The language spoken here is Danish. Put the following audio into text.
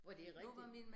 Og det rigtigt